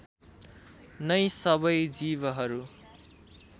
नै सबै जीवहरू